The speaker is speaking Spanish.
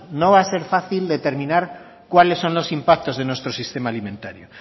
no va a ser fácil determinar cuáles son los impactos de nuestro sistema alimentario